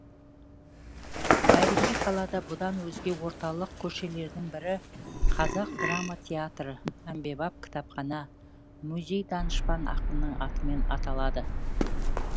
тарихи қалада бұдан өзге орталық көшелердің бірі қазақ драма театры әмбебап кітапхана музей данышпан ақынның атымен аталады